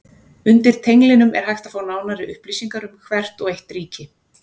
Undir tenglinum er hægt að fá nánari upplýsingar um hvert og eitt ríki.